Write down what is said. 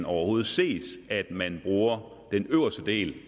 overhovedet ses at man bruger den øverste del